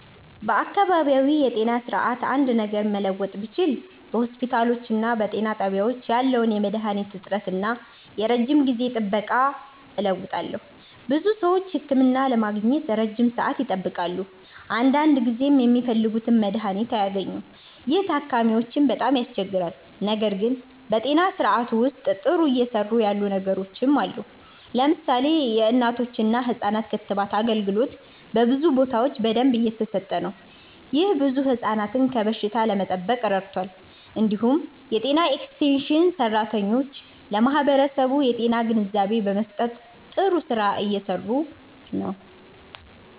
በአካባቢያዊ የጤና ስርዓት አንድ ነገር መለወጥ ብችል በሆስፒታሎችና በጤና ጣቢያዎች ያለውን የመድሃኒት እጥረት እና የረጅም ጊዜ ጥበቃ እለውጣለሁ። ብዙ ሰዎች ህክምና ለማግኘት ረጅም ሰዓት ይጠብቃሉ፣ አንዳንድ ጊዜም የሚፈልጉት መድሃኒት አይገኝም። ይህ ታካሚዎችን በጣም ያስቸግራል። ነገር ግን በጤና ስርዓቱ ውስጥ ጥሩ እየሰሩ ያሉ ነገሮችም አሉ። ለምሳሌ የእናቶችና ህፃናት ክትባት አገልግሎት በብዙ ቦታዎች በደንብ እየተሰጠ ነው። ይህ ብዙ ህፃናትን ከበሽታ ለመጠበቅ ረድቷል። እንዲሁም የጤና ኤክስቴንሽን ሰራተኞች ለማህበረሰቡ የጤና ግንዛቤ በመስጠት ጥሩ ስራ እየሰሩ ናቸው።